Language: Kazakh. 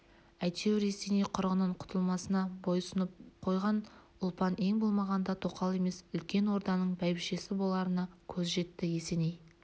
әйтеуір есеней құрығынан құтылмасына бой сұнып қойған ұлпан ең болмағанда тоқал емес үлкен орданың бәйбішесі боларына көзі жетті есеней